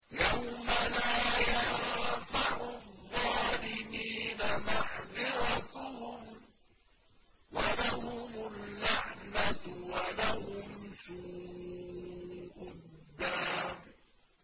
يَوْمَ لَا يَنفَعُ الظَّالِمِينَ مَعْذِرَتُهُمْ ۖ وَلَهُمُ اللَّعْنَةُ وَلَهُمْ سُوءُ الدَّارِ